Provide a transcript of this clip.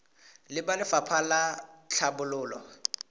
le ba lefapha la tlhabololo